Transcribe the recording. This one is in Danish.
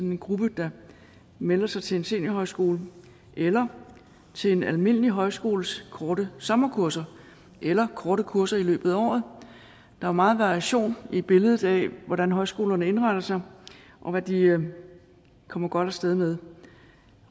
en gruppe der melder sig til en seniorhøjskole eller til en almindelig højskoles korte sommerkurser eller korte kurser i løbet af året der er meget variation i billedet af hvordan højskolerne indretter sig og hvad de kommer godt af sted med